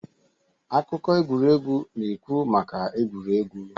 akụkọ egwuregwu na-ekwu maka egwuregwu